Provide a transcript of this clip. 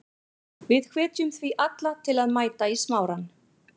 Við hvetjum því alla til að mæta í Smárann.